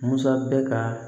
Musa bɛ ka